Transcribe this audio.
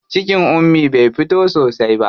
Cikin Ummi bai fito sosai ba.